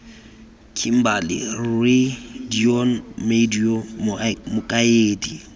kimberley rre deon madyo mokaedi